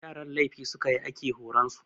Yaran laifi su ka yi ake horar da su.